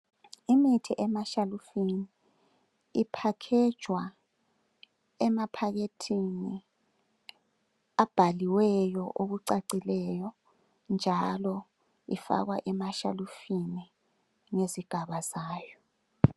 Imithi emashalufini iphakhejwa emaphakethini abhaliweyo okucacileyo njalo ifakwa emashalufini ngezigaba zayo